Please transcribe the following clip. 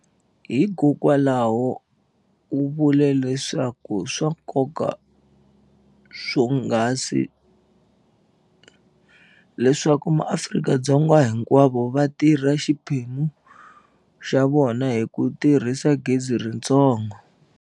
Hiko kwalaho, u vule leswaku i swa nkoka swonghasi leswaku maAfrika-Dzonga hinkwavo va tirha xiphemu xa vona hi ku tirhisa gezi ritsongo.